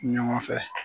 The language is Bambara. Ɲɔgɔn fɛ